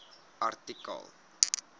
artikel